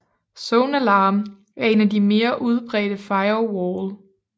ZoneAlarm er en af de mere udbredte firewall